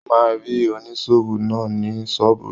Ó máa rí oníṣòwò náà ní ṣọ́ọ̀bù rẹ̀.